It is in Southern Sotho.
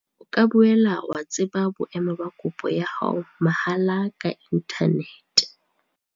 O ka boela wa tseba boemo ba kopo ya hao mahala ka inthanete.